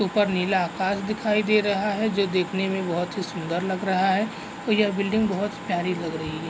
ऊपर नीला आकाश दिखाई दे रहा है जो देखने में बोहत ही सुन्दर लग रहा है और यह बिल्डिंग बोहत प्यारी लग रही है।